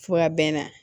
Fo a bɛnna